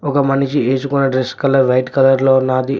ఒగ మనిషి ఏసుకున్న డ్రెస్ కలర్ వైట్ కలర్ లో ఉన్నాది.